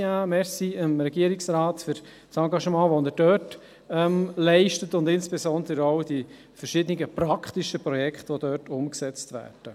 Danke an den Regierungsrat für das Engagement, welches er dort leistet, und insbesondere auch für die verschiedenen praktischen Projekte, die dort umgesetzt werden.